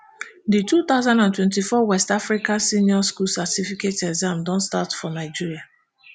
di two thousand and twenty-four west african senior school certificate exam don start for nigeria